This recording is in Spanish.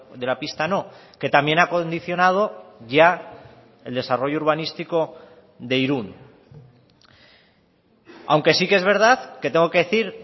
de la pista no que también ha condicionado ya el desarrollo urbanístico de irun aunque sí que es verdad que tengo que decir